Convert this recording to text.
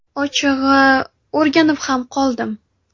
Ochig‘i, o‘rganib ham qoldim.